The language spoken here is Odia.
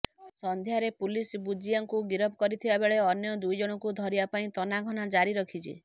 ସଂଧ୍ୟାରେ ପୁଲିସ ବୁଜିଆଙ୍କୁ ଗିରଫ କରିଥିବା ବେଳେ ଅନ୍ୟ ଦୁଇଜଣଙ୍କୁ ଧରିବା ପାଇଁ ତନାଘନା ଜାରି ରଖିଛି